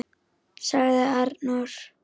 ., sagði Arnór.